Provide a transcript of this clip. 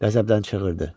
Qəzəbdən çığırdı.